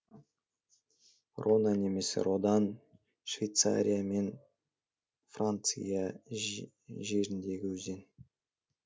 рона немесе рода н швейцария мен франция жеріндегі өзен